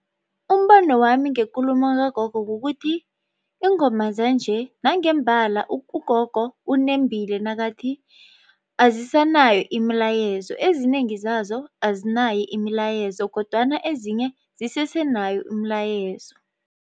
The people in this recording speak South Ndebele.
Umbono wami ngekulumo kagogo kukuthi iingoma zanje nangembala ugogo unembile nakathi azisanayo imilayezo, ezinengi zazo azinayo imilayezo kodwana ezinye zisese nayo imilayezo.